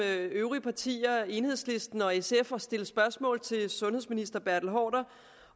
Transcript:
øvrige partier enhedslisten og sf at stille spørgsmål til sundhedsministeren